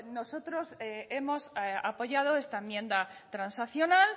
nosotros hemos apoyado esta enmienda transaccional